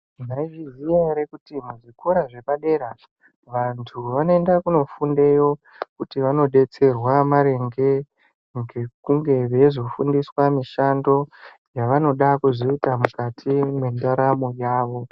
Maizviziya ere kuti muzvikora zvepadera vantu vanoenda kunofundeyo, kuti vanodetserwa maringe ngekunge veizofundiswa mishando yavanoda kuzoita mukati mwendaramo yavo?